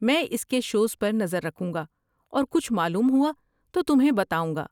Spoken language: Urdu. میں اس کے شوز پر نظر رکھوں گا اور کچھ معلوم ہوا تو تمہیں بتاؤں گا۔